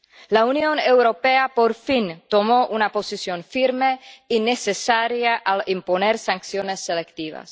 La Unión Europea, por fin, tomó una posición firme y necesaria al imponer sanciones selectivas.